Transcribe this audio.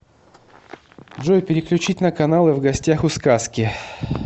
джой переключить на каналы в гостях у сказки